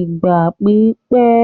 ìgbà pípẹ́.